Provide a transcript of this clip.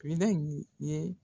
Minɛn ninnu ye